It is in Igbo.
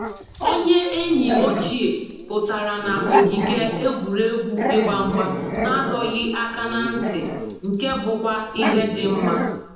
Onye enyi ochie pụtara na ogige egwuregwu ịgba mgba na adọghị aka na ntị, nke bụkwa ihe dị mma